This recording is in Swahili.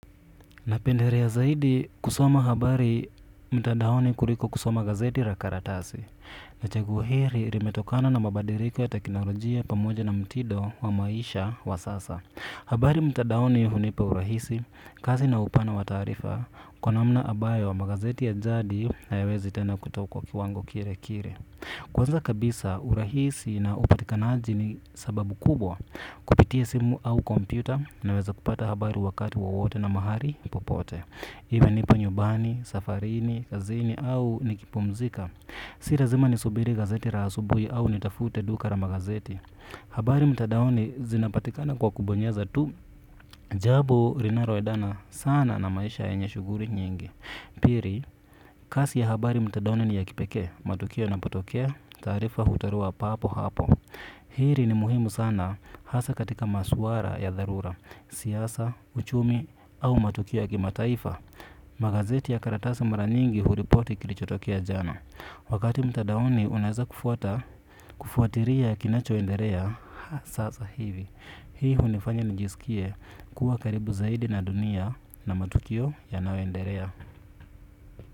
Napenderea zaidi kusoma habari mtandaoni kuliko kusoma gazeti ra karatasi. Na chaguo hili ilimetokana na mabadiliko ya teknolojia pamoja na mtindo wa maisha wa sasa. Habari mtandaoni hunipa urahisi, kazi na upana wa taarifa, kwa namna ambayo wa magazeti ya jadi hayawezi tena kutokuwa kiwango kile kile. Kwanza kabisa urahisi na upatikanaji ni sababu kubwa kupitia simu au kompyuta naweza kupata habari wakati wowote na mahali popote iwe nipo nyumbani safarini kazini au nikipumzika. Si lazima nisubiri gazeti la asubuhi au nitafute duka la magazeti. Habari mtandaoni zinapatikana kwa kubonyeza tu. Jambo linaloendana sana na maisha yenye shughuli nyingi. Pili, kazi ya habari mtandaoni ni ya kipekee. Matukio yanapotokea, taarifa hutolewa papo hapo. Hili ni muhimu sana hasa katika masuala ya dharura. Siasa, uchumi au matukio ya kimataifa. Magazeti ya karatasi mara nyingi huripoti kilichotokea jana. Wakati mtandaoni unaeza kufuata kufuatilia kinacho endelea. Sasa hivi, hii hunifanya nijisikie kuwa karibu zaidi na dunia na matukio ya nayo endelea.